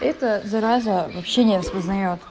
это зараза вообще не распознаёт